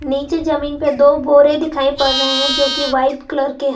नीचे जमीन पे दो बोरे दिखाई पड़ रहे हैं जो कि वाइट कलर के हैं।